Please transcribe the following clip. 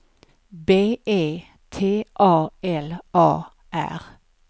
B E T A L A R